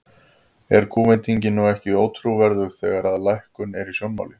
Er kúvendingin nú ekki ótrúverðug, þegar að lækkun er í sjónmáli?